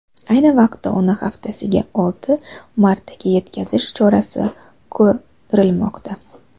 Ayni vaqtda uni haftasiga olti martaga yetkazish chorasi ko‘rilmoqda.